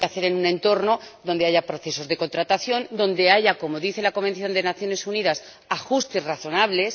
Se tiene que hacer en un entorno donde haya procesos de contratación, donde haya —como dice la Convención de Naciones Unidas— ajustes razonables.